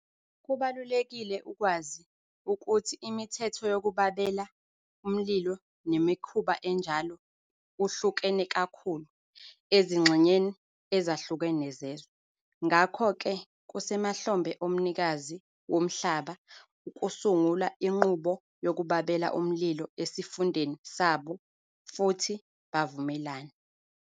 Kubalulekile ukwazi ukuthi imithetho yokubabela umlilo nemkhuba enjalo uhlukene kakhulu ezingxenyeni ezahlukene zezwe, ngakho ke kusemahlombe omnikazi womhlaba ukusungula inqubo yokubabela umlilo esifundeni sabo futhi bavumelane.